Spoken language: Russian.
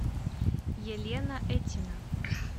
елена этина